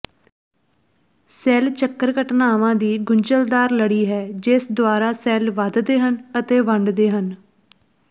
cell ਚੱਕਰ ਘਟਨਾਵਾਂ ਦੀ ਗੁੰਝਲਦਾਰ ਲੜੀ ਹੈ ਜਿਸ ਦੁਆਰਾ ਸੈੱਲ ਵਧਦੇ ਹਨ ਅਤੇ ਵੰਡਦੇ ਹਨ